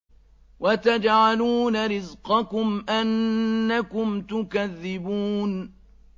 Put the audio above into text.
وَتَجْعَلُونَ رِزْقَكُمْ أَنَّكُمْ تُكَذِّبُونَ